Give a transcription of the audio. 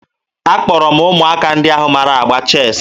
Akpọrọ m ụmụaka ndị ahụ mara agba cheesiị